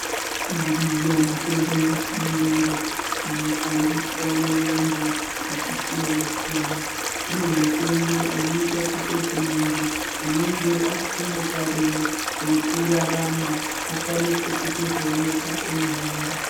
Iriyo mitombo yechiyungu inoshandiswa nevantu zvakasiyana siyana kune mitombo inoita kutoti muntu unenge asisina tariro yekurarama akwanise kutozoonekwa eihamba.